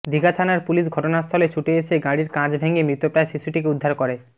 দিঘা থানার পুলিশ ঘটনাস্থলে ছুটে এসে গাড়ির কাঁচ ভেঙে মৃতপ্রায় শিশুটিকে উদ্ধার করে